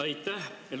Aitäh!